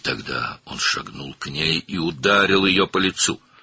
Və o zaman o, ona doğru addımladı və üzünə vurdu.